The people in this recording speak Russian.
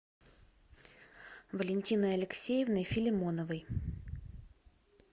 валентиной алексеевной филимоновой